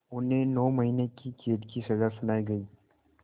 उन्हें नौ महीने क़ैद की सज़ा सुनाई गई